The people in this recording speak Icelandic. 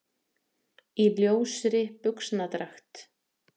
Í ljósri buxnadragt.